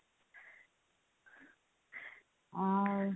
ଆଉ